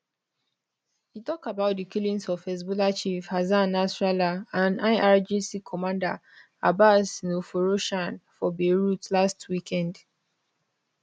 e tok about di killings of hezbollah chief hassan nasrallah and irgc commander abbas nilforoshan for beirut last weekend